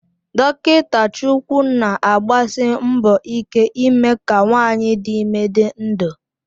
Dokita Chukwu na-agbasi mbọ ike ime ka nwanyị dị ime dị ndụ